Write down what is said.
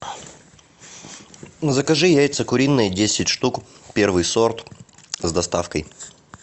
закажи яйца куриные десять штук первый сорт с доставкой